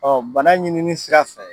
bana ɲinini sira fɛ